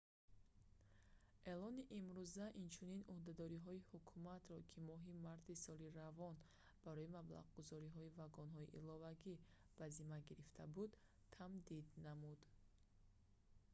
эълони имрӯза инчунин ӯҳдадориҳои ҳукуматро ки моҳи марти соли равон барои маблағгузории вагонҳои иловагӣ ба зимма гирифта буд тамдид намуд